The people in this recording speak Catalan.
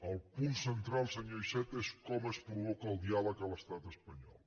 el punt central senyor iceta és com es provoca el diàleg a l’estat espanyol